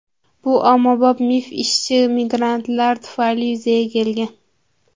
Bu ommabop mif ishchi migrantlar tufayli yuzaga kelgan.